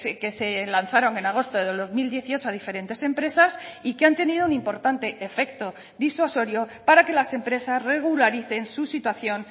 que se lanzaron en agosto del dos mil dieciocho a diferentes empresas y que han tenido un importante efecto disuasorio para que las empresas regularicen su situación